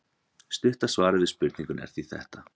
stutta svarið við spurningunni er því þetta